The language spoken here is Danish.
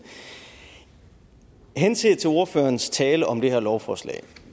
henset til ordførerens tale om det her lovforslag